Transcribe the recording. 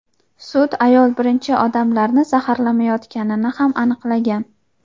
Sud ayol birinchi odamlarni zaharlamayotganini ham aniqlagan.